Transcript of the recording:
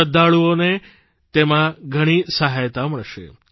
શ્રદ્ધાળુઓને તેમાં ઘણી સહાયતા મળશે